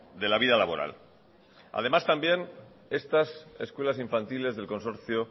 de la vida laboral además estas escuelas infantiles del consorcio